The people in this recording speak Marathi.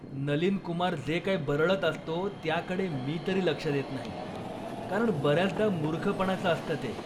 नलीन कुमार जे काही बरळत असतो त्याकडे मी तरी लक्ष देत नाही, कारण बऱ्याचदा मूर्खपणाचं असतं ते.